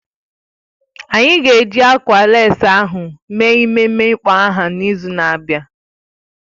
Anyị ga-eji ákwà lécí ahụ mee ememe ịkpọ aha n'izu na-abịa